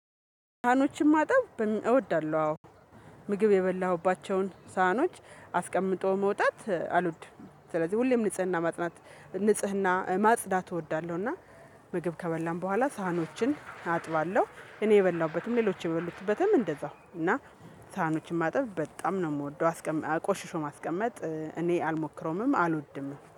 ሳህኖችን ማጣብ እወዳለሁ አዎ ምግብ የበላሁባቸውን ሳህኖች አስቀምጠው መውጣት አልወድም ስለዚህ ሁሌም ንጽህና ማጽዳት እወዳለሁ እና ምግብ ከበላን በኋላ ሳህኖችን አጥባለሁ እኔ የበላሁበትም ሌሎች የበሉበትም እንደዛው እና ሳህኖችን ማጠብ በጣም ነው የምወደው አስቀም ቆሽሾ ማስቀመጥ እኔ አልሞክረውምም አልወድምም።